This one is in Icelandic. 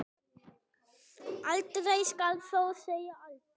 Aldrei skal þó segja aldrei.